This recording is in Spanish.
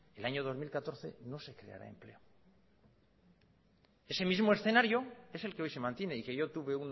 el año dos mil catorce no se creará empleo ese mismo escenario es el que hoy se mantiene y que yo tuve